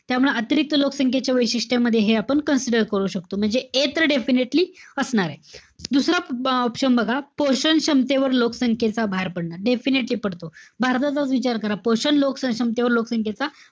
त्यामुळे अतिरिक्त लोकसंख्येची वैशिष्ट्यमध्ये हे आपण consider कर शकतो. म्हणजे A तर definitely असणारे. दुसरा option बघा. पोषण क्षमतेवर लोकसंख्येचा भार पडणार. Definitely पडतो. भारताचाच विचार करा. पोषण लोक क्षमतेवर लोकसंख्येचा,